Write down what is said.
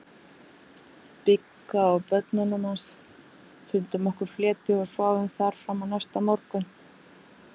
Bigga og börnunum hans, fundum okkur fleti og sváfum þar fram á næsta morgun.